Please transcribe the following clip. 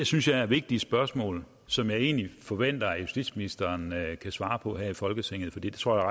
synes jeg er vigtige spørgsmål som jeg egentlig forventer at justitsministeren kan svare på her i folketinget for det tror jeg